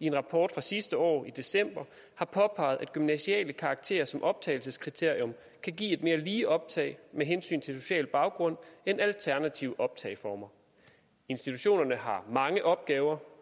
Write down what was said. i en rapport fra sidste år i december har påpeget at gymnasiale karakterer som optagelseskriterium kan give et mere lige optag med hensyn til social baggrund end alternative optageformer institutionerne har mange opgaver